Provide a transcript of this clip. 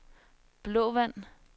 Blåvand